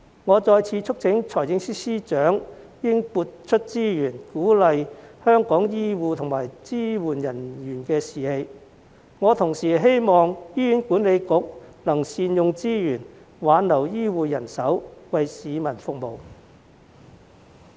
我再次促請司長撥出資源，鼓勵香港醫護和支援人員的士氣，同時希望醫院管理局能善用資源，挽留醫護人手，為市民服務。